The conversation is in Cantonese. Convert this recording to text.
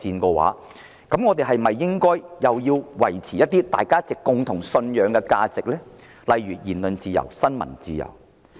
既然如此，我們是否應維護國際間共同信守的價值，例如言論自由和新聞自由？